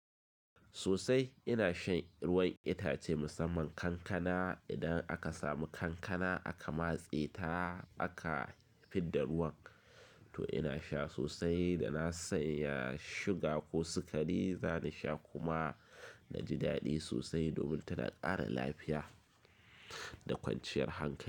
Sosai ina shan ruwan itace musamman kankana. Idan aka samu kankana aka matse ta aka fidda ruwan to ina sha sosai da na sanya sugar ko sikari. Zani sha kuma na ji daɗi sosai domin tana ƙara lafiya da kwanciyar hankali.